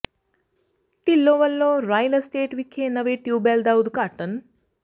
ਢਿੱਲੋਂ ਵਲੋਂ Royal Estate ਵਿਖੇ ਨਵੇਂ ਟਿਊਬਵੈੱਲ ਦਾ ਉਦਘਾਟਨ